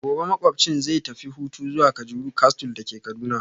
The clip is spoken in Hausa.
Gobe ​​makwabcina zai tafi hutu zuwa kajuru castle dake Kaduna